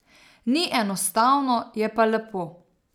Ni enostavno, je pa lepo.